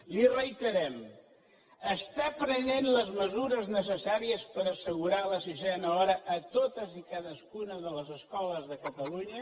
li ho reiterem està prenent les mesures necessàries per assegurar la sisena hora a totes i cadascuna de les escoles de catalunya